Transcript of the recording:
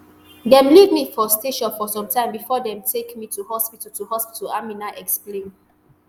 dem leave me for station for some time bifor dem take me to hospital to hospital aminat explain